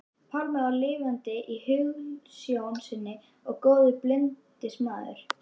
Pálmi var lifandi í hugsjón sinni og góður bindindismaður.